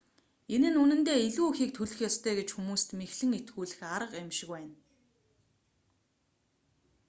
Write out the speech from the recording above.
энэ нь үнэндээ илүү ихийг төлөх ёстой гэж хүмүүст мэхлэн итгүүлэх арга юм шиг байна